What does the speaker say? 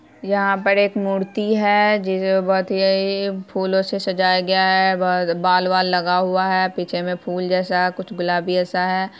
यहां पर एक मूर्ति है जो बहुत ही फूलो से सजाया गया है बाल वाल लगा हुआ है पीछे में फुल जैसा कुछ गुलाबी जैसा है ।